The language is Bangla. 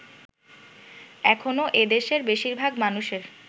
এখনো এদেশের বেশিরভাগ মানুষের